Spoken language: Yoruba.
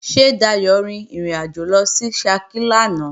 Ṣé Dayò rin ìrìnàjò lọ sí Ṣakí lánàá?